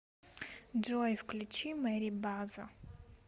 джой включи мэри база